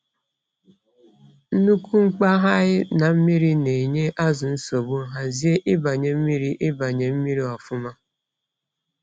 Nnukwu mkpaghaị̀ na mmiri na-enye azu nsogbu—hazịe ịgbanye mmiri ịgbanye mmiri ọfụma